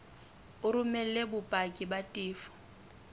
o romele bopaki ba tefo